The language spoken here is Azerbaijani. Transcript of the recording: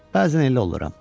Bəzən elə oluram.